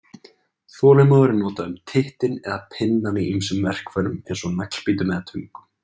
Þolinmóður er notað um tittinn eða pinnann í ýmsum verkfærum eins og naglbítum og töngum.